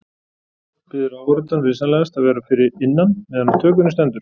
Biður áhorfandann vinsamlegast að vera fyrir innan meðan á tökunni stendur.